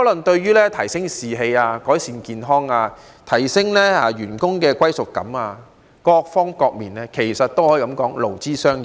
對提升士氣、改善健康、提升員工的歸屬感等各方各面均有好處，可以說是勞資雙贏。